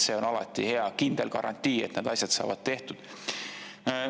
See on alati hea, kindel garantii, et need asjad saavad tehtud.